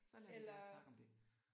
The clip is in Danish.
Eller